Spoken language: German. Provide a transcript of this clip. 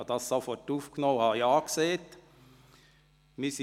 Ich nahm dies sofort auf und sagte zu.